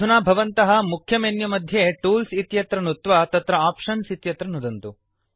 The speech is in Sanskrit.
अधुना भवन्तः मुख्यमेन्युमध्ये टूल्स् इत्यत्र नुत्वा तत्र आप्शन्स् इत्यत्र नुदन्तु